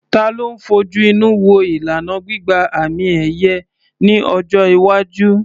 Ta ló ń fojú inú wo ìlànà gbígba àmì-ẹ̀yẹ ní ọjọ́ iwájú?